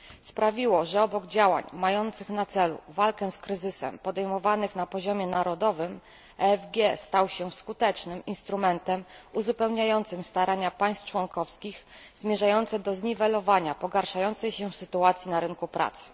Sprawiło, że obok działań mających na celu walkę z kryzysem, podejmowanych na poziomie narodowym, EFG stał się skutecznym instrumentem uzupełniającym starania państw członkowskich zmierzające do zniwelowania pogarszającej się sytuacji na rynku pracy.